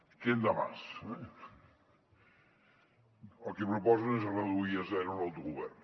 quién da más el que proposen és reduir a zero l’autogovern